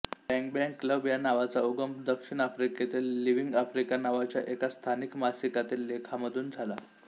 Bang Bang club या नावाचा उगम दक्षिण आफ्रिकेतील लिव्हिंग आफ्रिका नावाच्या एका स्थानिक मासिकातील लेखामधून झाला